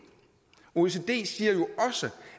også